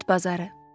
Bit bazarı.